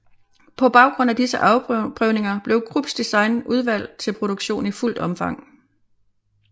På baggrund af disse afprøvninger blev Krupps design udvalgt til produktion i fuldt omfang